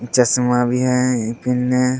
चश्मा भी है पेन्हले |